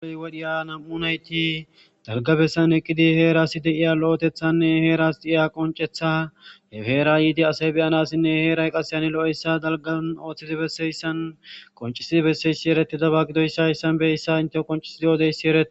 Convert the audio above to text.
Ha wodhiya nam'u nayti dalgabessan eqqidi heerasi de'iya lo'etethanne heeras de'iya qoncetha hefeera yiidi asay beyanassinne heeray qaseyhani lo'eyssa dalgan ooththidi besseyssan qoncisidi besseyssi eretidaba gidoyssaayssan beyssa inte qoncisidi odeyssi erei